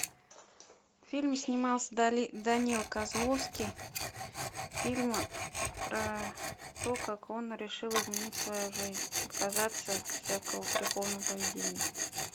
в фильме снимался данила козловский фильм про то как он решил изменить свою жизнь отказаться от всякого греховного поведения